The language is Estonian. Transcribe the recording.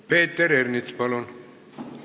Peeter Ernits, palun!